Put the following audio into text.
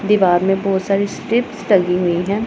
दीवार में बहुत सारी स्ट्रिप्स टंगी हुई हैं।